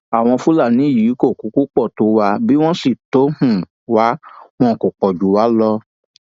àwọn fúlàní yìí kò kúkú pọ tó wá bí wọn sì tọ um wa wọn kó pọ jù wá um lọ